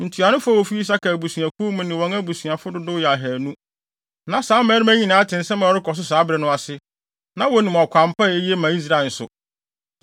Ntuanofo a wofi Isakar abusuakuw mu ne wɔn abusuafo dodow yɛ ahannu. Na saa mmarima yi nyinaa te nsɛm a ɛrekɔ so saa bere no ase, na wonim ɔkwan pa a eye ma Israel nso.